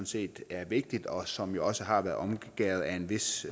set er vigtigt og som også har været omgærdet af en vis